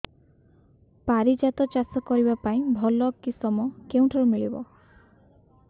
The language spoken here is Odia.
ପାରିଜାତ ଚାଷ କରିବା ପାଇଁ ଭଲ କିଶମ କେଉଁଠାରୁ ମିଳିବ